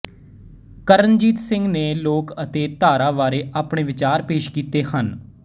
ਕਰਨਜੀਤ ਸਿੰਘ ਨੇ ਲੋਕ ਅਤੇ ਧਾਰਾ ਬਾਰੇ ਆਪਣੇ ਵਿਚਾਰ ਪੇਸ਼ ਕੀਤੇ ਹਨ